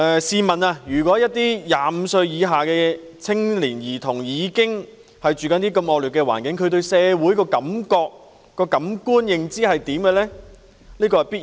試問一些25歲以下的年青人和兒童居住在如此惡劣的環境中，他們對社會的感覺或認知會如何？